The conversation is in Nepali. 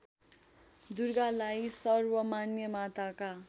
दुर्गालाई सर्वमान्य माताका